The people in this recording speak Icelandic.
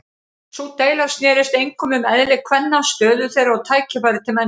Sú deila snerist einkum um eðli kvenna, stöðu þeirra og tækifæri til menntunar.